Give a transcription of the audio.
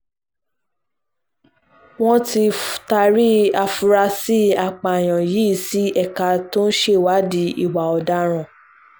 wọ́n ti taari àfúráṣí apààyàn yìí sí ẹ̀ka tó ń ṣèwádìí ìwà ọ̀daràn